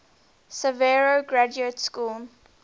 sarajevo graduate school